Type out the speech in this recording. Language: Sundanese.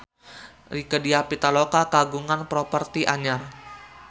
Rieke Diah Pitaloka kagungan properti anyar